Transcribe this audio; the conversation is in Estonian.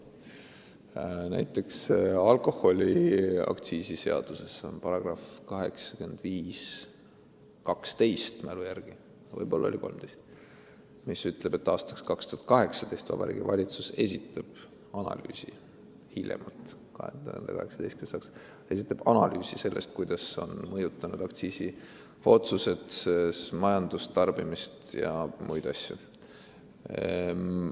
Ma mälu järgi ütlen, et näiteks alkoholiaktsiisi seaduses on § 8512 – või oli see 8513 –, mis ütleb, et hiljemalt 2018. aasta märtsis Vabariigi Valitsus esitab analüüsi selle kohta, kuidas on aktsiisiotsused mõjutanud tarbimist ja muudki majanduses.